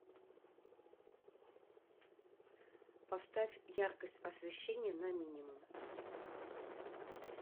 поставь яркость освещения на минимум